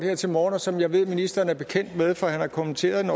her til morgen og som jeg ved ministeren er bekendt med for han har kommenteret den